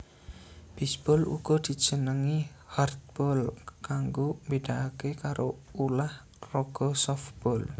Bisbol uga dijenengi hardball kanggo mbedakake karo ulah raga sofbol